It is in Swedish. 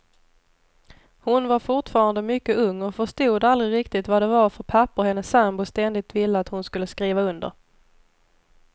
Hon var fortfarande mycket ung och förstod aldrig riktigt vad det var för papper hennes sambo ständigt ville att hon skulle skriva under.